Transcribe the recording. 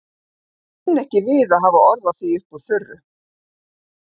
En ég kunni ekki við að hafa orð á því upp úr þurru.